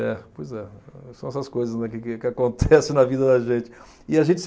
É, pois é. São essas coisas, né, que que acontecem na vida da gente. E a gente